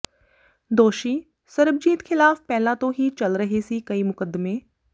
ਦੋਸ਼ੀ ਸਰਬਜੀਤ ਖਿਲਾਫ ਪਹਿਲਾਂ ਤੋ ਹੀ ਚਲ ਰਹੇ ਸੀ ਕਈ ਮੁਕੱਦਮੇ